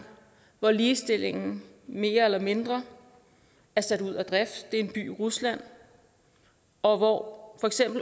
hvor ligestillingen mere eller mindre er sat ud af drift det er en by i rusland og hvor